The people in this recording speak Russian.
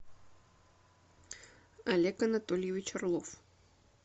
олег анатольевич орлов